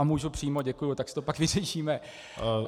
A můžu přímo, děkuji, tak si to pak vyřešíme.